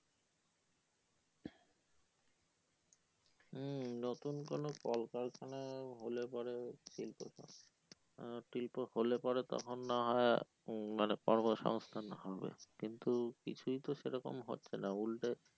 হম নতুন কোনো কল কারখানা হলে পরে আহ শিল্প হলে পরে তখন না হয়ে মানে কর্ম সংস্থান হবে কিন্তু কিছুই তো সেরকম হচ্ছে না উল্টে